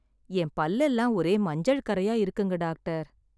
என் பல் எல்லாம் ஒரே மஞ்சள் கறையா இருக்குங்க டாகடர்.